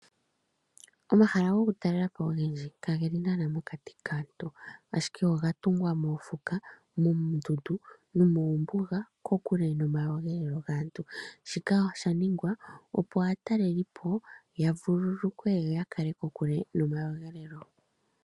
Omahala goku talelapo ogendji kageli naana mokati kaantu ashike ogatungwa mokuti moondundu nomombuga kokukele nomakudhilo gaantu ,Shika oshaningwa opo aatalelipo yavululukwe yo yakale kokule nomakudhilo.